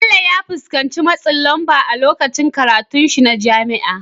Bello ya fuskanci matsin lamba a lokacin karatunsa na jami'a.